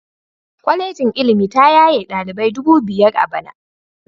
Kwalejin ilimi ta yaye dalibai dubu biyar a bana